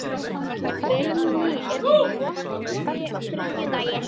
Vilný, er bolti á þriðjudaginn?